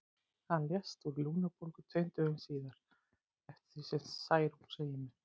Hann lést úr lungnabólgu tveimur dögum síðar, eftir því sem Særún segir mér.